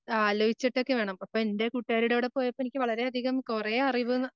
ആലോചിച്ചിട്ടൊക്കെ വേണം. കൂട്ടുകാരിയുടെ കൂടെ പോയപ്പം എനിക്ക് വളരെയധികം കൊറെ അറിവ്